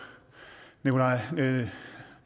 det